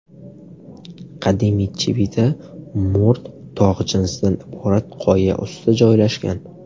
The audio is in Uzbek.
Qadimiy Chivita mo‘rt tog‘ jinsidan iborat qoya ustida joylashgan.